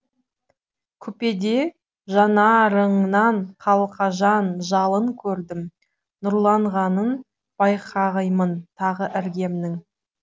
купеде жанарыңнан қалқажан жалын көрдім нұрланғанын байқаймын тағы іргемнің